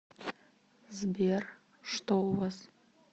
сбер что у вас